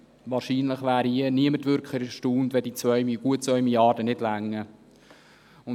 Wahrscheinlich wäre niemand erstaunt, wenn die 2 Mrd. Franken nicht ausreichten.